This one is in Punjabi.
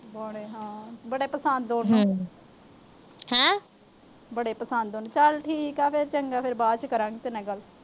ਬੜੇ ਹਾਂ। ਬੜੇ ਪਸੰਦ ਉਹਨੂੰ। ਅਹ ਬੜੇ ਪਸੰਦ ਆ ਉਹਨੂੰ। ਚਲ ਠੀਕ ਆ ਫਿਰ। ਚੰਗਾ ਫਿਰ। ਤੇਰੇ ਨਾਲ ਬਾਅਦ ਚ ਕਰਾਂਗੇ ਗੱਲ।